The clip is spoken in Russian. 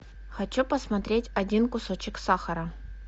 хочу посмотреть один кусочек сахара